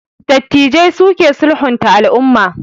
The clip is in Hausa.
Dattijai su ke sulhunta al'umma